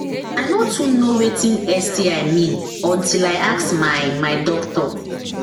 i no too know watin sti mean until i ask my my doctor